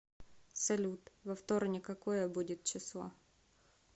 салют во вторник какое будет число